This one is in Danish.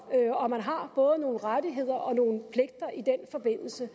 og at man har både nogle rettigheder og nogle pligter i den forbindelse